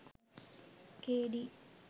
K.D.